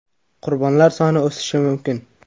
Qurbonlar soni o‘sishi mumkin.